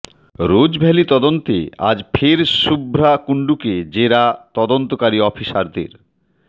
Rose Valley তদন্তে আজ ফের শুভ্রা কুণ্ডুকে জেরা তদন্তকারী অফিসারদের